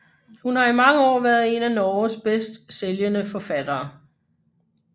Hun har i mange år været en af Norges bedst sælgende forfattere